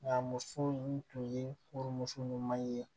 Nka muso in tun ye furumuso ɲuman ye